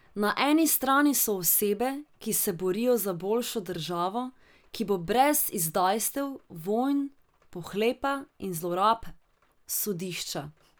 Na eni strani so osebe, ki se borijo za boljšo državo, ki bo brez izdajstev, vojn, pohlepa in zlorab sodišča.